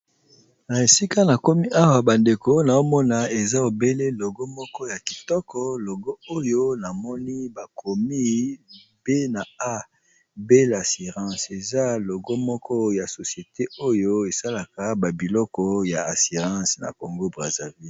Na esika na komi awa bandeko naomona eza ebele logo moko ya kitoko logo oyo namoni bakomi pe na ya assirance eza logo moko ya societe oyo esalaka babiloko ya assirance na congo brazza ville.